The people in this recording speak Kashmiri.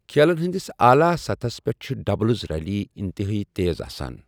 کھیلَن ہنٛدس اعلی سطحَس پٮ۪ٹھ چھِ ڈبلز ریلیہِ انتہٲئی تیز آسان۔